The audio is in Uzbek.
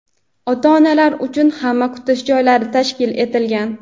ota-onalar uchun ham kutish joylari tashkil etilgan.